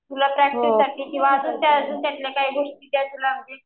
तुला प्रॅक्टिस साठी किंवा अजून त्यात काही गोष्टी